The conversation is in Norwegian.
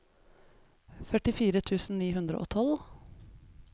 førtifire tusen ni hundre og tolv